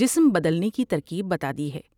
جسم بدلنے کی ترکیب بتا دی ہے ۔